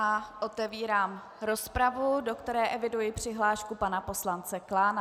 A otevírám rozpravu, do které eviduji přihlášku pana poslance Klána.